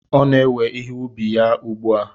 Ọ na-ewe ihe ubi ya ugbu a.